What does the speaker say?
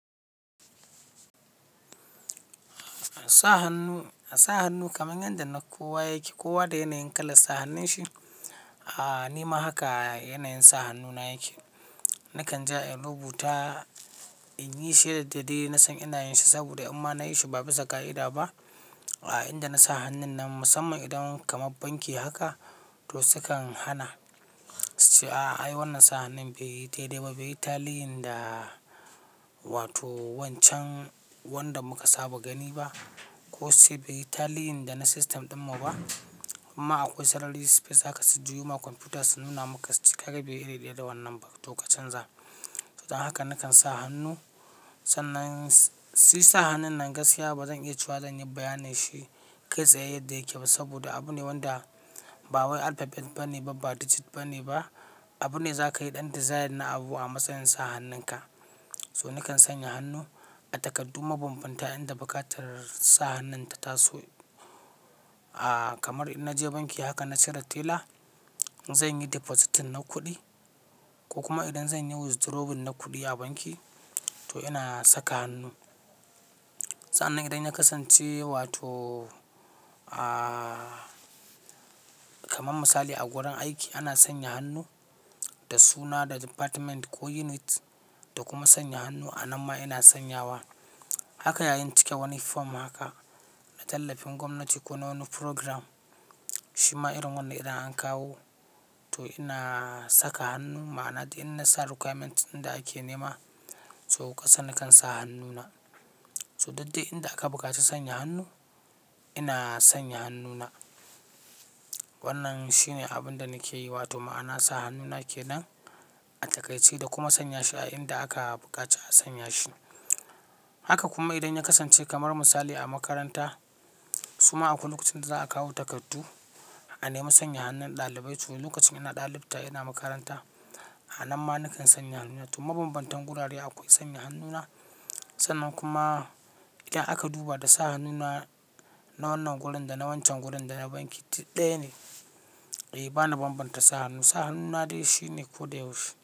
Sa hannu kamar yadda na kowa yake, kowa da yanayin kalar sa hannun shi, ah ni ma haka yanayin sa hannu na yake. Nakan ja in rubuta in yi shi yadda dai na san inayin shi saboda in ma nayi shi ba bisa ƙa'ida ba. Inda na sa hannun nan musamman idan kamar banki haka to su kan hana, suce a'a ai wannan sa hannun bai yi daidai ba, bai yi taliyin da wato wancan wanda muka saba gani ba ko sai bai yi taliyin da na system dinmu ba. Imma akwai sarari space haka su juyo ma kwamfuta su nuna maka su ce kaga bai yi iri daya da wannan ba to ka canza, to dan haka nakan sa hannu, sannan Si sa hannun nan gaskiya bazan iya cewa zan yi bayanin shi kai tsaye yadda yake ba saboda abune wanda bawai alphabet ba ne ba digit ba ne ba. Abune za ka yi ɗan design na abu a matsayin sa hannun ka. To nakan sanya hannu a takardu mabambanta inda buƙatar sa hannun ta taso. Kamar in na je banki haka na cire tela zan yi depositin na kuɗi ko kuma idan zan yi withdrawal na kuɗi a banki to ina saka hannu. Sa'annan idan ya kasance wato kamar misali a gurin aiki ana sanya hannu da suna, da department ko unit da kuma sanya hannu a nan ma ina sanyawa. Haka yayin cike wani form haka a tallafin gwamnati ko na wani program shima irin wannan idan an kawo to ina saka hannu ma'ana duk in na sa requirement inda ake nema to kasa nakan sa hannuna. To duddai inda aka buƙaci sanya hannu ina sanya hannuna. Wannan shine abun da nake yi wato ma'ana sa hannuna kenan a takaice da kuma sanya shi a inda aka buƙaci a sanya shi. Haka kuma idan ya kasance kamar misali a makaranta suma akwai lokacin da za a kawo takardu a nema sanya hannun ɗalibai to lokacin ina ɗalibta ina makaranta a nan ma nakan sanya hannuna. To mabambantan gurare akwai sanya hannuna sannan kuma idan aka duba da sa hannuna na wannan gurin da na wancan gurin da na banki duk ɗaya ne. Eh bani bambanta sa hannu, sa hannuna dai shi ne ko da yaushe.